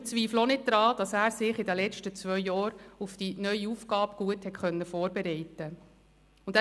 Wir zweifeln auch nicht daran, dass er sich in den letzten zwei Jahren gut auf seine neue Aufgabe vorbereiten konnte.